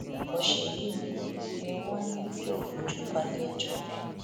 ọsẹ yìí ni ni wọn ní yóò fojú balẹẹjọ